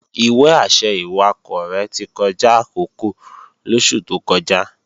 Ìwé-àṣẹ ìwakọ̀ rẹ̀ ti kọjá àkókò lóṣù tó kọjá